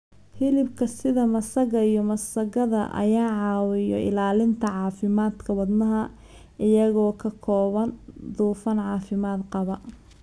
Hilibka sida masago iyo masagada ayaa caawiya ilaalinta caafimaadka wadnaha iyagoo ka kooban dufan caafimaad qaba.